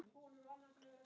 Það hefur mikið að segja.